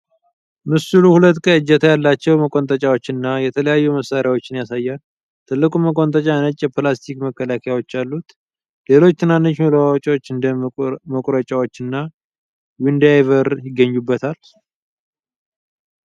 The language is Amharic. ምስሉ ሁለት ቀይ እጀታ ያላቸው መቆንጠጫዎች እና የተለያዩ መሳሪያዎችን ያሳያል፤ ትልቁ መቆንጠጫ ነጭ የፕላስቲክ መከላከያዎች አሉት። ሌሎች ትናንሽ መለዋወጫዎች እንደ መቁረጫዎችና ዊንዳይቨር ይገኙበታል።